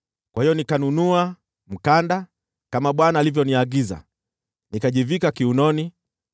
Kwa hiyo nikanunua mkanda, kama Bwana alivyoniagiza, nikajivika kiunoni.